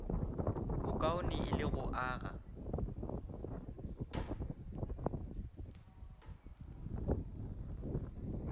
bokaone e le go aga